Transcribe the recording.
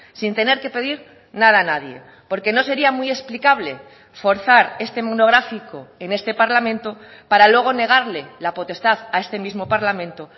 sin tener que pedir nada a nadie porque no sería muy explicable forzar este monográfico en este parlamento para luego negarle la potestad a este mismo parlamento